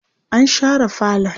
an share falon